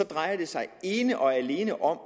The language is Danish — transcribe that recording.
drejer det sig ene og alene om